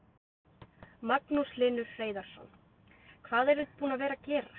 Magnús Hlynur Hreiðarsson: Hvað eruð þið búin að vera gera?